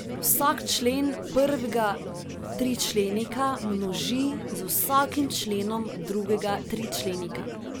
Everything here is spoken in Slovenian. Vsak člen prvega tričlenika množi z vsakim členom drugega tričlenika.